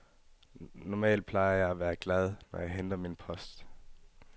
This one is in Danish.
Normalt plejer jeg at være glad, når jeg henter min post.